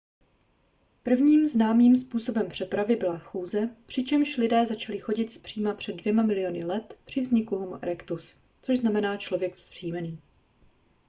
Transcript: prvním známým způsobem přepravy byla chůze přičemž lidé začali chodit zpříma před dvěma miliony let při vzniku homo erectus což znamená člověk vzpřímený